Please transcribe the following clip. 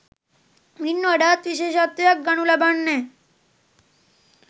මින් වඩාත් විශේෂත්වයක් ගනු ලබන්නේ